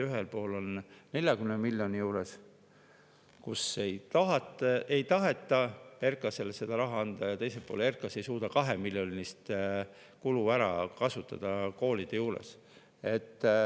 Ühel puhul, kui ei taheta RKAS-ile seda raha anda, on see 40 miljoni juures, ja teisel puhul RKAS ei suuda 2 miljonit koolide jaoks ära kasutada.